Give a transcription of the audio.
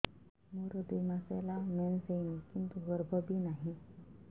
ମୋର ଦୁଇ ମାସ ହେଲା ମେନ୍ସ ହେଇନି କିନ୍ତୁ ଗର୍ଭ ବି ନାହିଁ